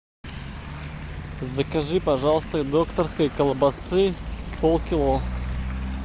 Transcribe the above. закажи пожалуйста докторской колбасы полкило